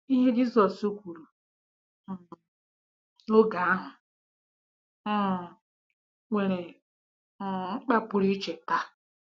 Ihe Jizọs kwuru um n'oge ahụ um nwere um mkpa pụrụ iche taa.